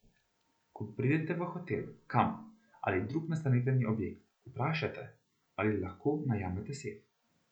Ko pridete v hotel, kamp ali drug nastanitveni objekt, vprašajte, ali lahko najamete sef.